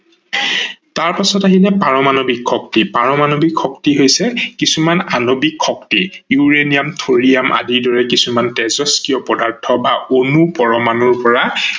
তাৰ পাছতে আহিলে পাৰমানৱিক শক্তি। পাৰমানৱিক শক্তি হৈছে কিছুমান আনৱিক শক্তি ইউৰেনিয়াম, থৰিয়াম আদিৰ দৰে কিছুমান তেজস্ক্ৰিয় পদাৰ্থ বা অনু পৰমানুৰ পৰা